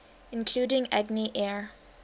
including agni air